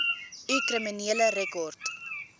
u kriminele rekord